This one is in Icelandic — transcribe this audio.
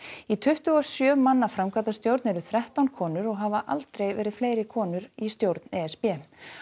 í tuttugu og sjö manna framkvæmdastjórn eru þrettán konur og hafa aldrei fleiri konur í stjórn e s b